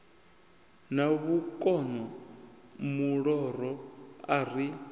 na vhukono muloro a ri